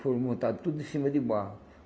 Foram montado tudo em cima de barro.